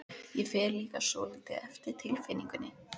Ég fer líka svolítið eftir tilfinningunni.